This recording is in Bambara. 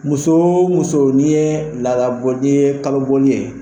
Muso o muso n'i ye laadabɔ n'i ye kalobɔli ye.